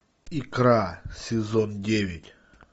икра сезон девять